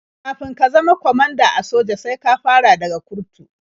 Kafin ka zama kwamanda a soja sai ka fara daga kurtu.